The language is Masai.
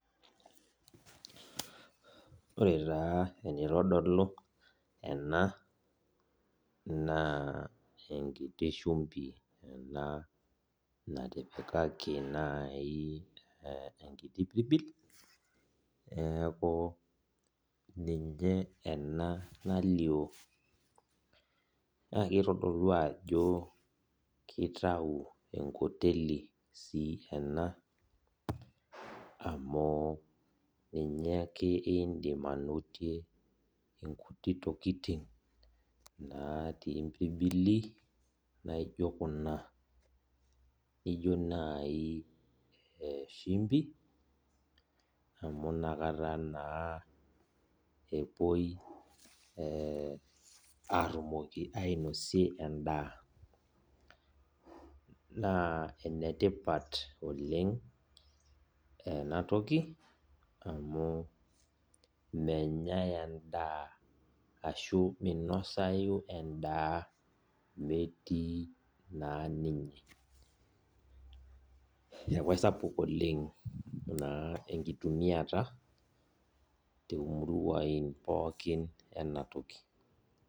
Ore taa enitodolu ena naa enkiti shumbi ena natipakaki naa enkiti pirbil ninye ena nalioo. Naa keitodolu ajo kitau enkoteli sii ena amu ninye ake idim anotie nkuti tokitin natii mbirbili naijo kuna. Naijo najii ee shumbi, amu inakata naa epuoi aatumoki ainosie en`daa. Naa enetipat oleng ena toki amu mmenyae en`daa ashu iminosayu en`daa naa metii naa ninye.